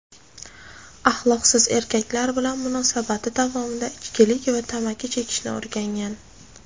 Axloqsiz erkaklar bilan munosabati davomida ichkilik va tamaki chekishni o‘rgangan.